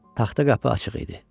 Taxta qapı açıq idi.